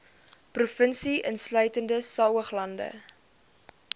provinsie insluitende saoglande